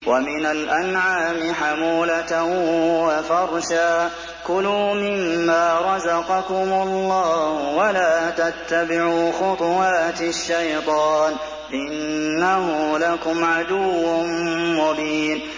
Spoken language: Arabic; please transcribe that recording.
وَمِنَ الْأَنْعَامِ حَمُولَةً وَفَرْشًا ۚ كُلُوا مِمَّا رَزَقَكُمُ اللَّهُ وَلَا تَتَّبِعُوا خُطُوَاتِ الشَّيْطَانِ ۚ إِنَّهُ لَكُمْ عَدُوٌّ مُّبِينٌ